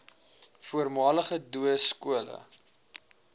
voormalige doo skole